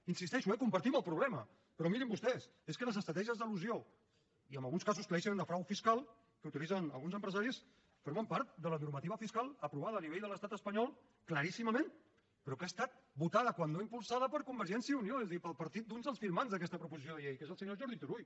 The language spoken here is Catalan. hi insisteixo eh compartim el problema però mirin vostès és que les estratègies d’elusió i en alguns casos claríssimament de frau fiscal que utilitzen alguns empresaris formen part de la normativa fiscal aprovada a nivell de l’estat espanyol claríssimament però que ha estat votada si no impulsada per convergència i unió és a dir pel partit d’uns dels firmants d’aquesta proposició de llei que és el senyor jordi turull